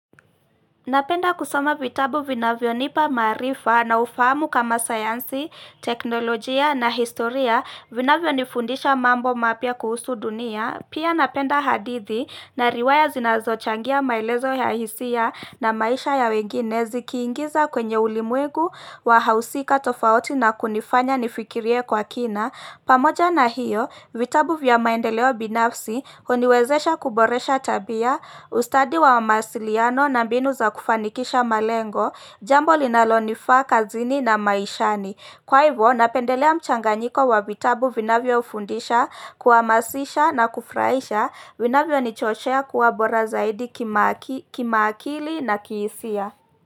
Napenda kusama vitabu vinavyo nipa marifa na ufahamu kama sayansi, teknolojia na historia vinavyo nifundisha mambo mapya kuhusu dunia Pia napenda hadithi na riwaya zinazo changia mailezo ya hisia na maisha ya wenginezi Kiingiza kwenye ulimwegu wahausika tofauti na kunifanya nifikirie kwa kina pamoja na hiyo, vitabu vya maendeleo binafsi huuniwezesha kuboresha tabia ustadi wa masiliano na mbinu za kufanikisha malengo jambo linalonifaa kazini na maishani kwa hivyo napendelea mchanganyiko wa vitabu vinavyo fundisha kuhamasisha na kufuraisha vinavyonichochea kuwa bora zaidi kima akili na kiisia.